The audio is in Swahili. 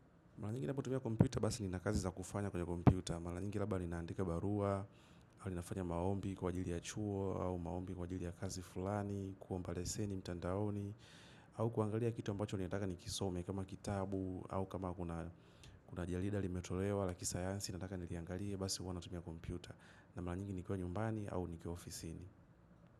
Mara nyingi ninapotumia kompyuta basi ni nakazi za kufanya kwenye kompyuta. Mara nyingi labda ninaandika barua, au ninafanya maombi kwa jili ya chuo, au maombi kwa ajili ya kazi fulani, kuomba leseni, mtandaoni, au kuangalia kitu ambacho ninataka nikisome, kama kitabu, au kama kuna jarida, limetolewa, la kisayansi, nataka ni liangalia, basi huwa natumia kompyuta. Na mara nyingi nikiwa nyumbani, au nikiwa ofisi ni.